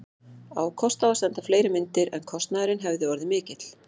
Á kost á að senda fleiri myndir, en kostnaðurinn hefði orðið of mikill.